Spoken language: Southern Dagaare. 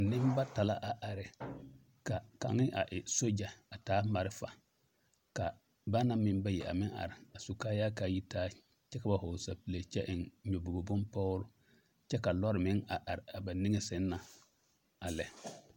Nembata la a are ka kaŋ a e sogya a taa malfa ka ba naŋ bayi a meŋ are a su kaayaa ka a yi taa kyɛ ka ba vɔgle sapile kyɛ ka ba eŋ nyɔbogre bonpɔgre kyɛ ka lɔɔre meŋ are a ba niŋe sɛŋ na a lɛ.